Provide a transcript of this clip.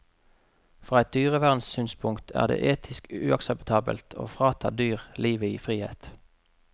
Fra et dyrevernssynspunkt er det etisk uakseptabelt å frata dyr livet i frihet.